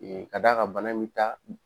k'a d'a ka bana in bi taa